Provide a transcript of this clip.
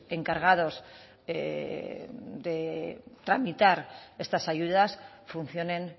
encargados de tramitar estas ayudas funcionen